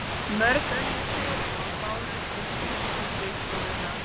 Mörg önnur kærumál bárust til sýsluskrifstofunnar.